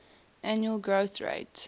annual growth rate